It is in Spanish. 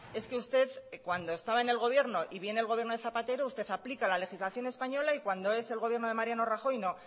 es que usted cuando estaba en el gobierno y viene el gobierno de zapatero usted aplica la legislación española y cuando es el gobierno de mariano rajoy no